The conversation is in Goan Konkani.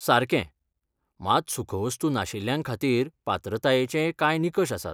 सारकें! मात सुखवस्तू नाशिल्ल्यांखातीर पात्रतायेचेय कांय निकश आसात.